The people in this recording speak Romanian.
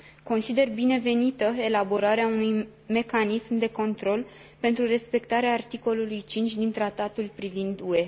Consider binevenită elaborarea unui mecanism de control pentru respectarea articolului 5 din Tratatul privind UE.